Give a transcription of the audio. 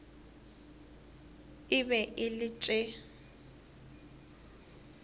e be e le tše